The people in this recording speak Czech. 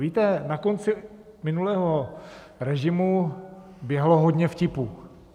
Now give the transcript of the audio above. Víte, na konci minulého režimu běhalo hodně vtipů.